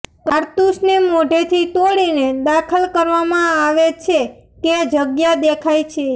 કારતુસને મોઢેથી તોડીને દાખલ કરવામાં આવે છે કે જગ્યા દેખાય છે